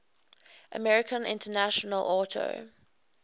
american international auto